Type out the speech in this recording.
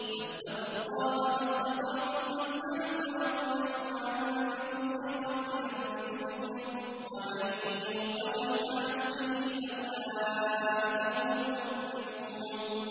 فَاتَّقُوا اللَّهَ مَا اسْتَطَعْتُمْ وَاسْمَعُوا وَأَطِيعُوا وَأَنفِقُوا خَيْرًا لِّأَنفُسِكُمْ ۗ وَمَن يُوقَ شُحَّ نَفْسِهِ فَأُولَٰئِكَ هُمُ الْمُفْلِحُونَ